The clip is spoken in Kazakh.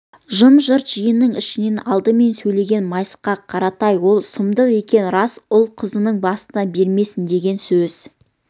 жым-жырт жиынның ішінен алдымен сөйлеген майысқақ қаратай ол сұмдық екені рас ұлы-қызыңның басына бермесін деген өз